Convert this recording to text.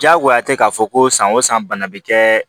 Diyagoya tɛ k'a fɔ ko san o san bana bɛ kɛ